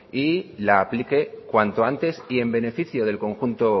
y la aplique cuanto antes y en beneficio del conjunto